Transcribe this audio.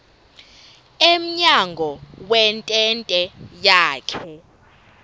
emnyango wentente yakhe